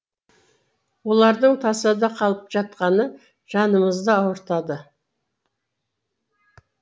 олардың тасада қалып жатқаны жанымызды ауыртады